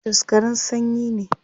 Jos garin sanyi ne